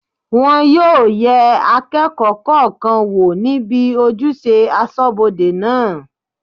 Wọn yóò yẹ akẹ́kọ̀ọ́ kọ̀ọ̀kan wò níbi ojúṣe asọ́bodè náà